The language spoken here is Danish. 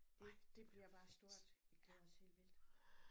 Det det bliver bare stort vi glæder os helt vildt